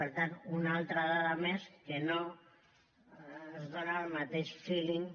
per tant una altra dada més que no ens dóna el mateix feeling